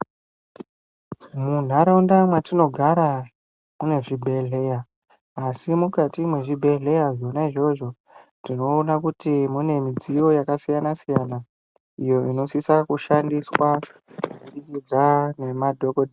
Munharaunda mwatinogara mune zvibhedhlera asi mukati mwezvibhedhlera zvonaizvozvo tinoona kuti mune midziyo yakasiyana siyana iyo inosisa kushandiswa kubudikidza ngemadhokodheya .